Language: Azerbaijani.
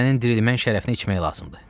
Sənin dirilmənin şərəfinə içmək lazımdır.